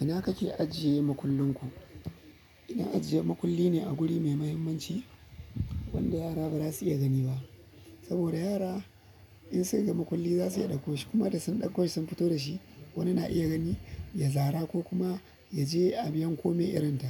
Ina kake ajiye makullin ku? Ina ajiye makulli ne a guri mai muhimmanci wanda yara ba za su iya gani ba. Saboda yara in su ga makulli za su iya ɗakko shi kuma da sun ɗakko shi sun fito da shi wani na iya gani, ya zara ko kuma ya je a yanko me irin ta.